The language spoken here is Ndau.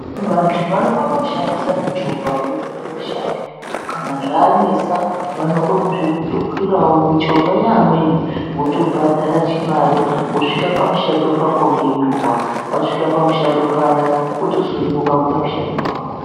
Vanru vanokone kushandise michovha kuenda kumishando. Kana zvanesa vanokone kutokwirawo michovha yeamweni .Wotobhadhara chimari, wotosvika pachimushando chako ngenguwa. Wasvika pamushando paya ,wotosununguka kuite mushando wako.